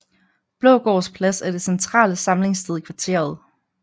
Blågårds Plads er det centrale samlingssted i kvarteret